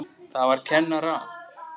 Það var kennara